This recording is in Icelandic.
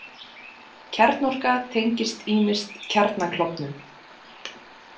Kjarnorka tengist ýmist kjarnaklofnun.